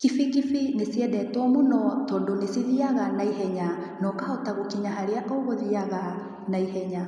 Kibikibi nĩ ciendetwo mũno tondũ nĩ cithiaga naihenya na ũkahota gũkinya harĩa ũgũthiaga naihenya.